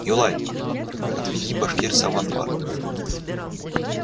юлай отведи башкирца в амбар